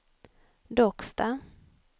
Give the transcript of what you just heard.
Docksta